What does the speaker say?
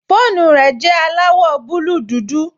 Fóònù rẹ̀ jẹ́ aláwọ̀ búúlù dúdú